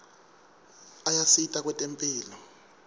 ayasita kwetemphilo